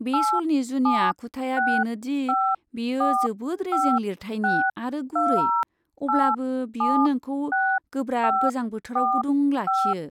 बे श'लनि जुनिया आखुथाया बेनो दि बेयो जोबोद रेजें लिरथाइनि आरो गुरै, अब्लाबो बेयो नोंखौ गोब्राब गोजां बोथोराव गुदुं लाखियो।